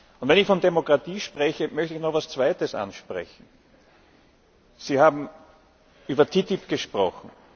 Und wenn ich von Demokratie spreche, möchte ich noch etwas Zweites ansprechen Sie haben über die TTIP gesprochen.